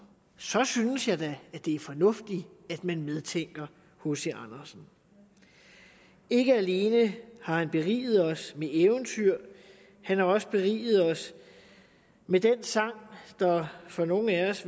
synes jeg da det er fornuftigt at man medtænker hc andersen ikke alene har han beriget os med eventyr han har også beriget os med den sang som nogle af os